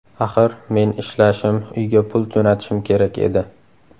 Axir men ishlashim, uyga pul jo‘natishim kerak edi.